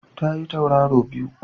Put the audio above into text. Ta yi Tauraro biyu